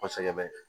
Kosɛbɛ